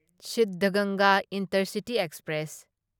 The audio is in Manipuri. Siddhaganga intercity express